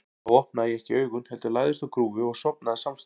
Þá opnaði ég ekki augun, heldur lagðist á grúfu og sofnaði samstundis.